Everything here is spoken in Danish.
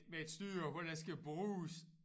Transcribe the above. Med et styre hvor der skal bruges